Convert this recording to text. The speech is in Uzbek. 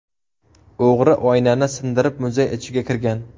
O‘g‘ri oynani sindirib muzey ichiga kirgan.